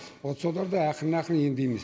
вот соларды ақырын ақырын емдейміз